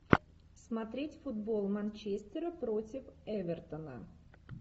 смотреть футбол манчестера против эвертона